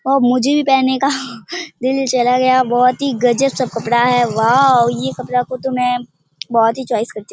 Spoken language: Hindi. और मुझे भी पहनने का दिल चला गया बहोत ही गजब सब कपड़ा है वाओ ये कपड़ा का तो में बहोत ही चॉइस करती हूँ।